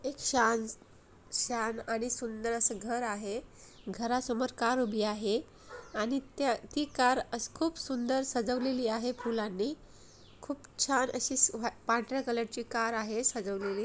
एक छान छान आणि सुंदर अस घर आहे घरा समोर कार उभी आहे आणि त्या ती कार असे खूप सुंदर सजवलेली आहे फुलांनी खूप छान अशी स पांढर्‍या कलरची कार आहे सजवलेली.